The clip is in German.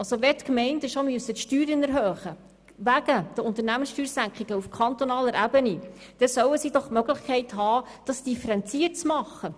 Wenn die Gemeinden schon ihre Steuern wegen der Unternehmenssteuersenkung auf kantonaler Ebene erhöhen müssen, dann sollen sie doch die Möglichkeit haben, das differenziert zu tun.